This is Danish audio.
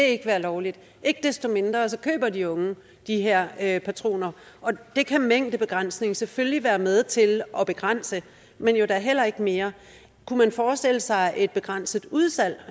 ikke være lovligt ikke desto mindre køber de unge de her patroner og det kan en mængdebegrænsning selvfølgelig være med til at begrænse men jo da heller ikke mere kunne man forestille sig eksempelvis et begrænset udsalg